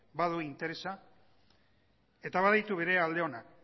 badu interesa eta baditu bere alde onak